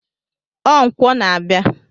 Ọ nkwọ na-abịa.